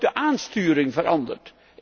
Ook de aansturing verandert.